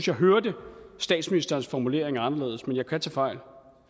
jeg hørte statsministerens formulering anderledes men jeg kan tage fejl